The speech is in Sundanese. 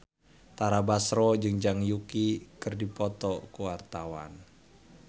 Tara Basro jeung Zhang Yuqi keur dipoto ku wartawan